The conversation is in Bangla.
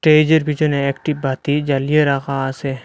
স্টেইজের পিছনে একটি বাতি জ্বালিয়ে রাখা আসে।